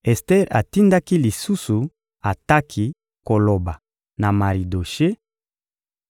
Ester atindaki lisusu Ataki koloba na Maridoshe: